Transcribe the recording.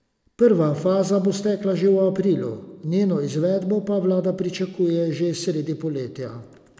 Prva faza bo stekla že v aprilu, njeno izvedbo pa vlada pričakuje že sredi poletja.